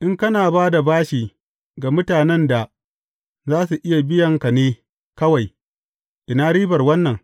In kana ba da bashi ga mutanen da za su iya biyan ka ne kawai, ina ribar wannan?